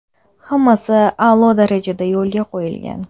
Hammasi a’lo darajada yo‘lga qo‘yilgan.